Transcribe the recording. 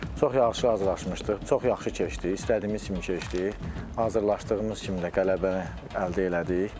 Çox yaxşı hazırlaşmışdıq, çox yaxşı keçdi, istədiyimiz kimi keçdi, hazırlaşdığımız kimi də qələbəni əldə elədik.